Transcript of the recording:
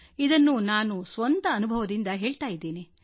ಇದನ್ನು ನಾನು ಸ್ವಂತ ಅನುಭವದಿಂದ ಹೇಳ್ತಾ ಇದ್ದೇನೆ